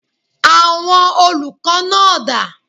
Àwọn olùkọ́ náà dà?